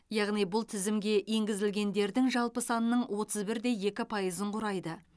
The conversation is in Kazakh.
яғни бұл тізімге енгізілгендердің жалпы санының отыз бір де екі пайызын құрайды